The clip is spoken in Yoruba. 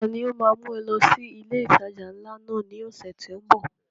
Ta ni ó ma mú ẹ lọ sí ilé ìtajà ńlá náà ní ọ̀sẹ̀ tó ń bọ̀?